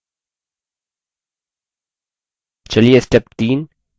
चलिए step 3 add subform fields पर जाते हैं